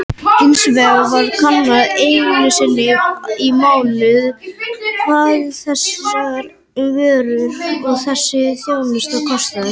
Hins vegar er kannað einu sinni í mánuði hvað þessar vörur og þessi þjónusta kosta.